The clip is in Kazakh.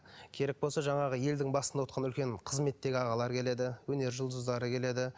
керек болса жаңағы елдің басында отырған үлкен қызметтегі ағалар келеді өнер жұлдыздары келеді